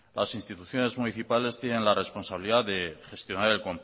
las instituciones municipales tienen la responsabilidad de gestionar